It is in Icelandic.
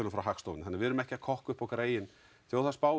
frá Hagstofunni þannig við erum ekki að kokka upp okkar eigin þjóðarspá